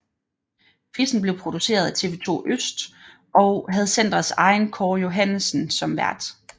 Quizzen blev produceret af TV2 Øst og havde centrets egen Kåre Johannessen som vært